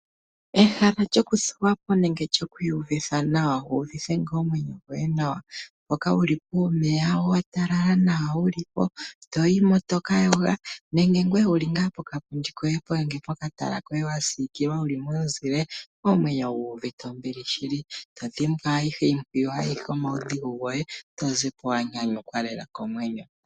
Ehala ltokuthuwa po nenge lyoku iyuvitha nawa wuuvithe ngoo omwenyo gwoye nawa mpoka wuli puumeya watalala nawa uuna wuli po toyi mo toka yoga nenge ngweye wuli ngaa pokapundi koye nenge pokatala koye wasiikilwa omwenyo gu uvite ombili shili to dhimbwa ayihe mbyoka wa ninga to zipo wuuvite nawa komwenyo.